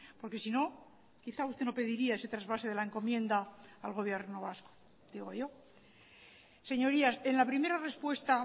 porque si no quizá usted no pediría ese trasvase de la encomienda al gobierno vasco digo yo señorías en la primera respuesta